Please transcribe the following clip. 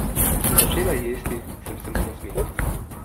Ko sem začela jesti, sem se mu nasmehnila.